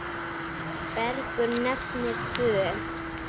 Bergur nefnir tvö.